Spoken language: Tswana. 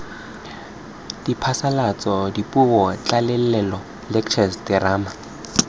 diphasalatso dipuo tlhatlhelelo lectures terama